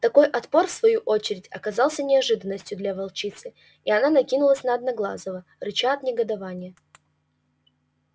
такой отпор в свою очередь оказался неожиданностью для волчицы и она накинулась на одноглазого рыча от негодования